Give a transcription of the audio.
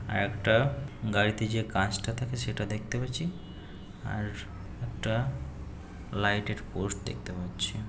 একটা গাড়িতে যে কাঁচটা থাকে সেটা দেখতে পাচ্ছি আর একটা লাইট -এর পোস্ট দেখতে পাচ্ছি ।